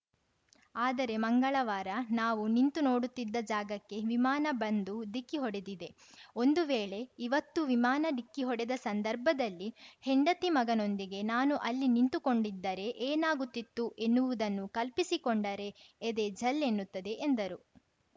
ಆದರೆ ಮಂಗಳವಾರ ನಾವು ನಿಂತು ನೋಡುತ್ತಿದ್ದ ಜಾಗಕ್ಕೆ ವಿಮಾನ ಬಂದು ಡಿಕ್ಕಿ ಹೊಡೆದಿದೆ ಒಂದು ವೇಳೆ ಇವತ್ತು ವಿಮಾನ ಡಿಕ್ಕಿ ಹೊಡೆದ ಸಂದರ್ಭದಲ್ಲಿ ಹೆಂಡತಿ ಮಗನೊಂದಿಗೆ ನಾನು ಅಲ್ಲಿ ನಿಂತುಕೊಂಡಿದ್ದರೆ ಏನಾಗುತ್ತಿತ್ತು ಎನ್ನುವುದನ್ನು ಕಲ್ಪಿಸಿಕೊಂಡರೆ ಎದೆ ಝಲ್‌ ಎನ್ನುತ್ತದೆ ಎಂದರು